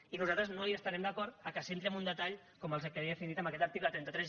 i nosaltres no estarem d’acord que s’entri amb un detall com el que els he definit amb aquest article trenta tres